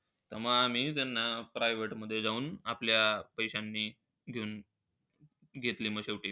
त्यामुळे मी त्यांना private मध्ये नेऊन आपल्या पैशानी देऊन घेतलं मग शेवटी.